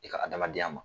I ka adamadenya ma